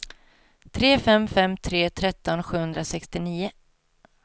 tre fem fem tre tretton sjuhundrasextionio